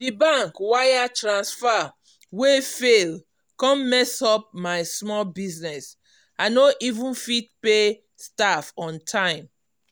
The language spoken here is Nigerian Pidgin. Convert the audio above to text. di bank wire transfer wey fail come mess up my small business i no even fit pay staff on time.